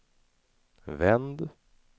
vänd